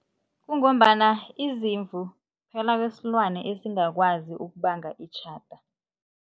Kungombana izimvu kuphela kwesilwane esingakwazi ukubanga itjhada.